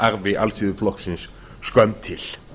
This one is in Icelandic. velferðararfi alþýðuflokksins skömm til